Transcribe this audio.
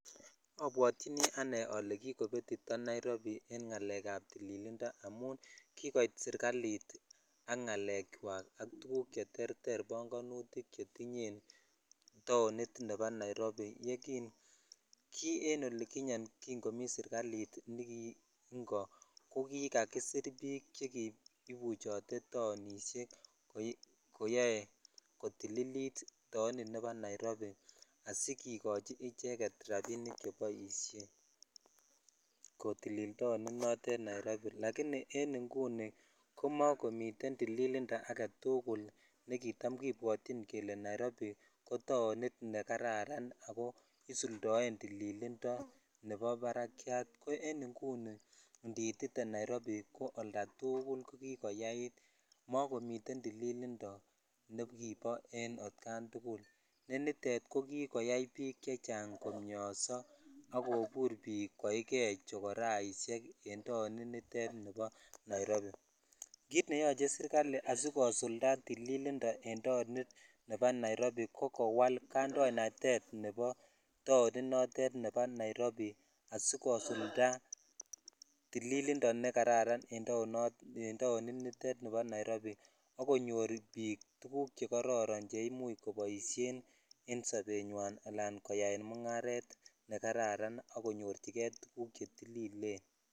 Obwotyinii anee ole kigopetito Nairobi en ng'aleek ab tililindo amuun kigoiit sirkaliit ak ng'aleek kywaak ak tuguk cheterter bongonutik chetinye taoniit nebo Nairobi, kii en olekinyeen kiin komii serkaliit negiingo kogigasiir biik chegibuchote taonishek koyoee kotililit taonit nebo Nairobi agigigochi icheget rabiniik cheboisheen kotilil taoniit noteet nieb Nairobi, lakini nguni komagomiteen tiilindo agetuguul negitam kipwotyin kole nairobi ko taoniit negararan ago isuldoeen tililindo nebo baraakyat, en inguni niitite Nairobi oldo tuguul ko kigoyaiit, mogamiten tililindo negibo en atkaan tugul ko niteet kogigoyaai biik chechang' komnyoso ak koigee chokoraishek en taonit niteet nebo Nairobi, kiit neyoche kwaai serkali asigosulda tililindo en taoniit nebo nairobi ko kowaal kandoinatet en taoniit nebo nairobi asigosulda tililindo negararan en taoniit niteet nebo nairobi ak konyoor biik tuguuk chegororon chrimuch koboisheen en sobenywaan alan koyaen mung'areet negararan ak komnyorchigee tugguuk chetililen.